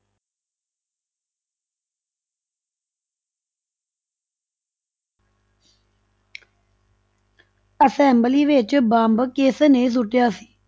Assembly ਵਿੱਚ bomb ਕਿਸਨੇ ਸੁੱਟਿਆ ਸੀ?